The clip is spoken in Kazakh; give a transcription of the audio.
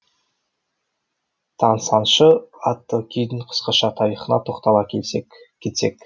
тансаңшы атты күйдің қысқаша тарихына тоқтала кетсек